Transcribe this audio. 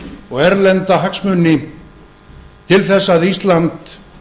og erlenda hagsmuni til þess að ísland